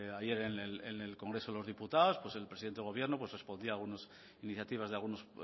ayer en el congreso de los diputados pues el presidente del gobierno pues respondía algunos iniciativas de algunos